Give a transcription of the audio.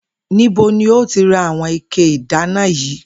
Níbo ni o ti ra àwo̩n ike ìdáná yìí?